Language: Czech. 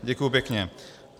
Děkuji pěkně.